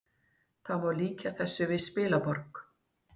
Það má líkja þessu við spilaborg